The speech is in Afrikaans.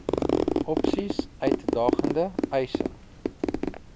opsies uitdagende eise